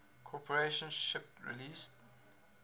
corporation shipped release